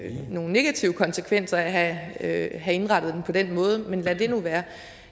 negative konsekvenser af at have indrettet det på den måde men lad det nu være